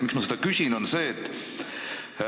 Miks ma seda märgin?